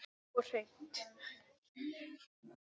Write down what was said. Og hreint.